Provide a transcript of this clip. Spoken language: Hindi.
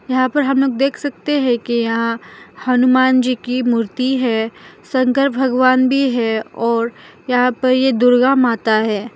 यहां पर हम लोग देख सकते हैं कि यहां हनुमान जी की मूर्ति है शंकर भगवान भी है और यहां पर यह दुर्गा माता है।